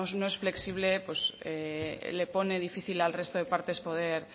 no es flexible pues le pone difícil al resto de partes poder